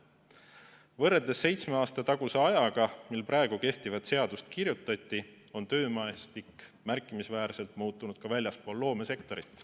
Võrreldes seitsme aasta taguse ajaga, mil praegu kehtivat seadust kirjutati, on töömaastik märkimisväärselt muutunud ka väljaspool loomesektorit.